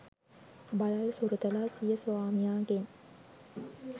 බළල් සුරතලා සිය ස්වාමියාගෙන්